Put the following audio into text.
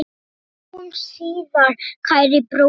Sjáumst síðar, kæri bróðir.